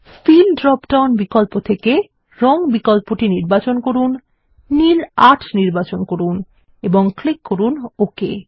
feel drop down বিকল্প থেকে রঙ বিকল্পটি নির্বাচন করুন নীল ৮ নির্বাচন করুন এবং ক্লিক করুন ওকে